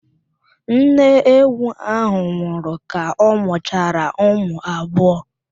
Nne ewu ahụ nwụrụ ka ọ mụchara ụmụ abụọ.